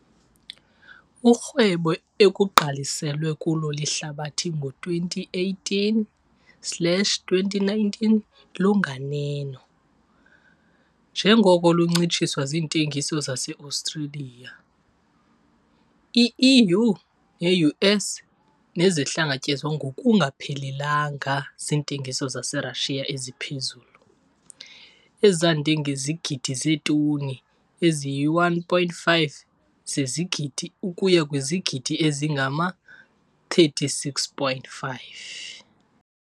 Urhwebo ekugqaliselwe kulo lihlabathi ngo-2018 slash 2019 lunganeno, njengoko luncitshiswa ziintengiso zaseAustralia, iEU neU.S nezihlangatyezwa ngokungaphelelanga ziintengiso zaseRussia eziphezulu, ezande ngezigidi zeetoni eziyi-1,5 zezigidi ukuya kwizigidi ezingama-36,5.